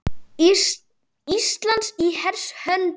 Ísland í hers höndum